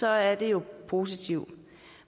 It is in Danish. er det jo positivt